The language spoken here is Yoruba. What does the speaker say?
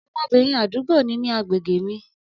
Ọmọbìnrin àdúgbò ni ní agbègbè mi.